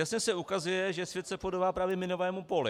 Jasně se ukazuje, že svět se podobá právě minovému poli.